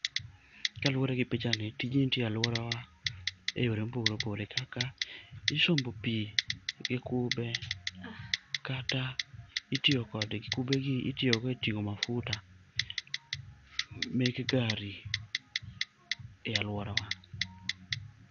Kaluwore gi pichani, tijni itiye alworawa e yore mopogore opogore kaka isombo pi gi kube kata itiyo kodgi, kube gi itiyogo e ting'o mafuta meke gari e alworawa.